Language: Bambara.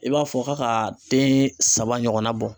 I b'a fɔ k'a ka den saba ɲɔgɔnna bɔ